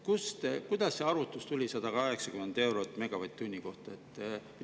Kuidas tuli selle arvutuse 180 eurot megavatt-tundi?